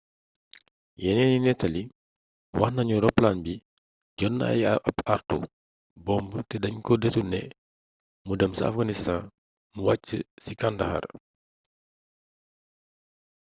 yeneeni nettali wax nañu roplaan bi jot na ab àartu bomb te dañ ko deturné mu dem ca afganistan mu wàcc ci kandahar